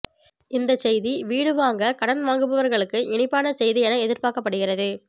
இந்த செய்தி வீடு வாங்க கடன் வாங்குபவர்களுக்கு இனிப்பான செய்தி என எதிர்பார்க்கப்படுகிறது